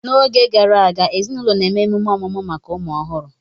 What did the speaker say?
N'oge gara aga, ezinaụlọ na-eme emume ọmụmụ maka ụmụ ọhụrụ